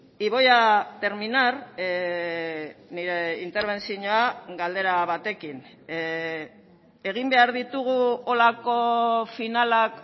y voy a terminar nire interbentzioa galdera batekin egin behar ditugu holako finalak